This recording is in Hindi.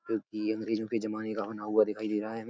जब की ये अंग्रजो के ज़माने का बना हुआ दिखाई दे रहा है हमें।